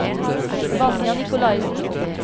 Vanja Nicolaysen